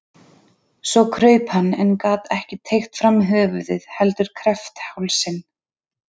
Svo kraup hann en gat ekki teygt fram höfuðið heldur kreppti hálsinn.